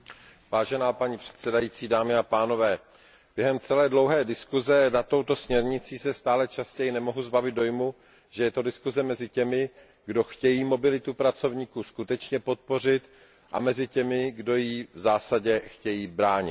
Vážená paní předsedající, během celé dlouhé diskuze nad touto směrnicí se stále častěji nemohu zbavit dojmu, že je to diskuze mezi těmi, kdo chtějí mobilitu pracovníků skutečně podpořit, a mezi těmi, kdo jí v zásadě chtějí bránit.